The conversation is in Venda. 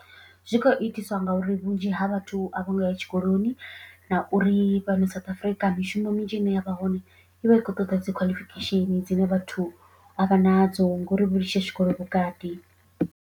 Zwi khou itiswa ngauri vhunzhi ha vhathu a vhongo ya tshikoloni na uri fhano South Africa mishumo minzhi ine ya vha hone i vha i khou ṱoḓa dzi qualification dzine vhathu avhanadzo ngori vho litsha tshikolo vhukati.